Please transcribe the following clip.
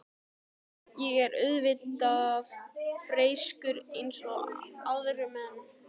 Ég er auðvitað breyskur eins og aðrir menn.